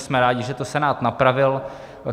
Jsme rádi, že to Senát napravil.